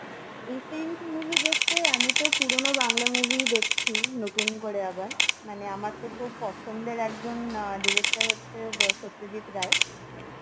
recent movie দেখতে আমি তো পুরনো বাংলা movie ই দেখছি নতুন করে আবার, মানে আমার তো খুব পছন্দের একজন আহ director হচ্ছে সত্যজিৎ রায়